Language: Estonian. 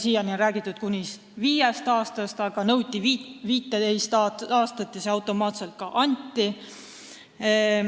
Siiani on räägitud kuni viiest aastast, aga nõuti 15 aastat ja see automaatselt ka anti.